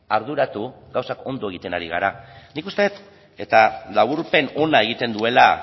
arduratu gauzak ondo egiten ari gara nik uste dut eta laburpen ona egiten duela